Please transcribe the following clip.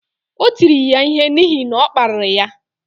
O tiri ya ihe n’ihi na ọ kparịrị ya